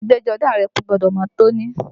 Aṣọ ẹgbẹ́jọdá rẹ gbọ́dọ̀ mọ́ tóní!